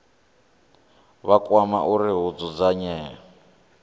vha kwama uri hu dzudzanywe